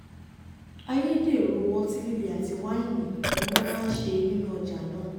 ayédèrú ọtí líle àti wáìnì ni wọ́n máa ń ṣe nínú ọjà náà